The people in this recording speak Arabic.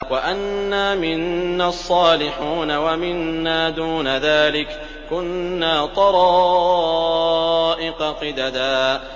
وَأَنَّا مِنَّا الصَّالِحُونَ وَمِنَّا دُونَ ذَٰلِكَ ۖ كُنَّا طَرَائِقَ قِدَدًا